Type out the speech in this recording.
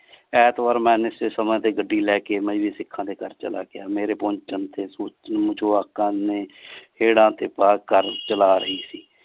ਐਂਤਵਾਰ ਮੈਂ ਨਿਸ਼ਚਿਤ ਸਮੇਂ ਤੇ ਗੱਡੀ ਲੈਕੇ ਮਜਬੀ ਸਿਖਾਂ ਦੇ ਘਰ ਚਲਾ ਗਿਆ L ਮੇਰੇ ਪਹੁੰਚਣ ਤੇ ਜਵਾਕਾ ਨੇ ਹੇੜਾਂ ਤੇ ਪਾਰਕ ਕਰ ਚਲਾ ਰਹੀ ਸੀ।